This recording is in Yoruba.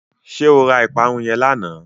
Ṣé o ra ìparun yẹn lánàá?